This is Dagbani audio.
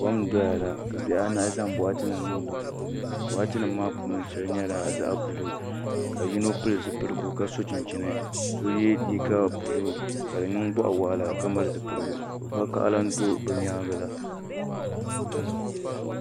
Kom n doya la ka bihi anahi zaŋ boɣati nim niŋ di puuni boɣati nim ŋo shɛli nyɛla zaɣ buluu ka yino pili zipiligu ka so chinchini so yɛ liiga buluu ka di niŋ boɣa waɣala ka mali zipiligu vakaɣala n do bi nyaangi la